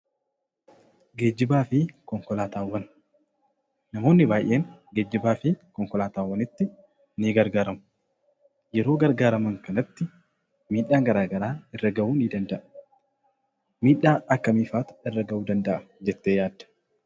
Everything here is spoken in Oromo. Geejjibaa fi konkolaataawwan: Namoonni baay'een geejjibaa fi konkolaataawwanitti nii gargaaramu. Yeroo gargaaraman kanatti miidhaan garaa garaa irra gahuu ni danda'a. Miidhaa akkamiifaatu irra ga'uu danda'a jettee yaadda?